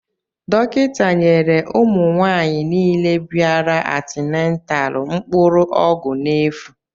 Dọkịta nyere ụmụ nwaanyị nile bịara antinataalu mkpụrụ ọgwụ n'efu.